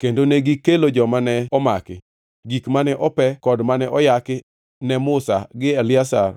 kendo negikelo joma ne omaki, gik mane ope kod mane oyaki ne Musa gi Eliazar